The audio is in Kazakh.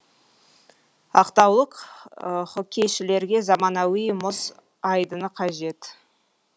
ақтаулық хоккейшілерге заманауи мұз айдыны қажет